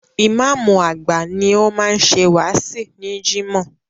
Ìmáàmù àgbà ni ó máa ń ṣe wáàsí ní Jimoh.